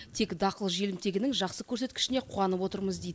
тек дақыл желімтегінің жақсы көрсеткішіне қуанып отырмыз дейді